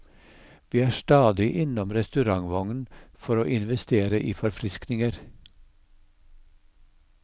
Vi er stadig innom restaurantvognen for å investere i forfriskninger.